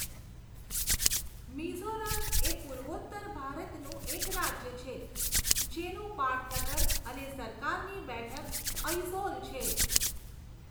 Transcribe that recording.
મિઝોરમ એ પૂર્વોત્તર ભારતનું એક રાજ્ય છે, જેનું પાટનગર અને સરકારની બેઠક અઇઝૉલ છે.